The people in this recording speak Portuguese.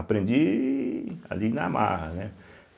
Aprendi ali na Marra, né.